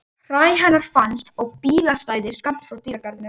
Hræ hennar fannst á bílastæði skammt frá dýragarðinum.